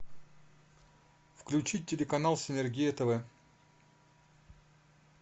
включить телеканал синергия тв